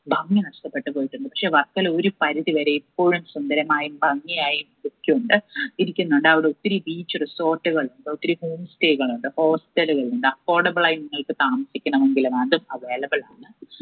ഭംഗി നഷ്ടപ്പെട്ടുപോയിട്ടുണ്ട്. പക്ഷെ വർക്കല ഒരു പരിധിവരെ ഇപ്പോഴും സുന്ദരമായും ഭംഗിയായും ഉണ്ട് ഇരിക്കുന്നുണ്ട് അവിടെ ഒത്തിരി beach resort ഉകൾ ഒത്തിരി homestay കളുണ്ട് hotel കളുണ്ട് affordable ആയി നിങ്ങൾക്ക് താമസിക്കണമെങ്കിൽ ഉം available ആണ്.